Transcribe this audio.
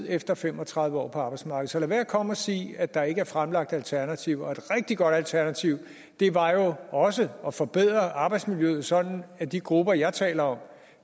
efter fem og tredive år på arbejdsmarkedet så lad være med at komme og sige at der ikke er fremlagt alternativer og et rigtig godt alternativ var jo også at forbedre arbejdsmiljøet sådan at de grupper jeg taler om